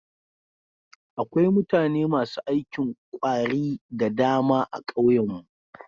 Akwai mutane masu aikin ƙwari da dama a ƙauyen mu.